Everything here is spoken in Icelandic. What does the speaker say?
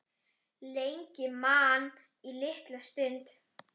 Lengi man til lítilla stunda